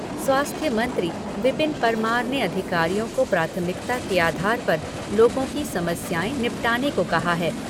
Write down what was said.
स्वास्थ्य मंत्री विपिन परमार ने अधिकारियों को प्राथमिकता के आधार पर लोगों की समस्याएं निपटाने को कहा है।